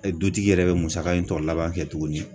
E Dutigi yɛrɛ be musaka in tɔ laban kɛ tuguni